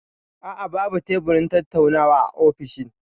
A'a, babu teburin tattaunawa a ofishin.